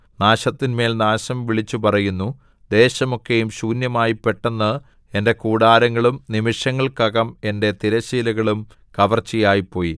നാശത്തിന്മേൽ നാശം വിളിച്ചു പറയുന്നു ദേശമൊക്കെയും ശൂന്യമായി പെട്ടെന്ന് എന്റെ കൂടാരങ്ങളും നിമിഷങ്ങൾക്കകം എന്റെ തിരശ്ശീലകളും കവർച്ചയായിപ്പോയി